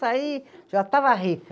Saí, já estava rica.